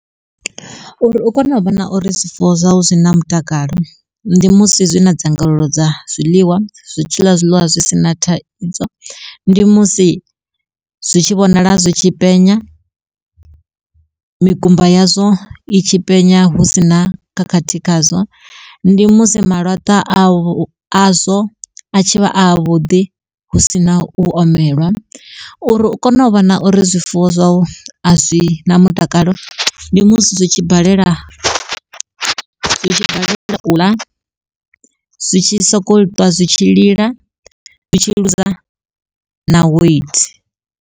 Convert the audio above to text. Uri u kone u vhona uri zwifuwo zwau zwi na mutakalo, ndi musi zwi na dzangalelo dza zwiḽiwa zwi tshiḽa zwiḽiwa zwisina thaidzo. Ndi musi zwi tshi vhonala zwitshi penya, mikumba yazwo i tshi penya, hu sina khakhathi khazwo ndi musi malatwa a vho azwo a tshivha a vhuḓi hu sina u omelwa. Uri u kone u vhona uri zwifuwo zwau a zwina mutakalo ndi musi zwi tshi balela zwi tshi balela u ḽa zwi tshi sokou twa zwi tshi lila zwi tshi ḽuza na weithi.